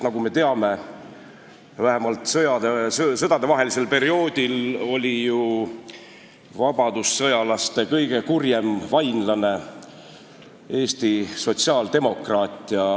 Nagu me teame, oli vähemalt sõdadevahelisel perioodil vabadussõjalaste kõige kurjem vainlane Eesti sotsiaaldemokraat.